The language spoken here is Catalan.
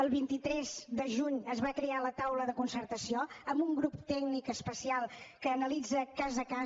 el vint tres de juny es va crear la taula de concertació amb un grup tècnic especial que analitza cas a cas